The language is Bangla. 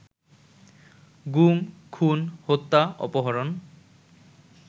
গুম, খুন, হত্যা, অপহরণ